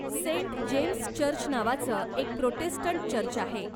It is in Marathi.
सेंट जेम्स चर्च नावाचं एक प्रोटेस्टंट चर्च आहे.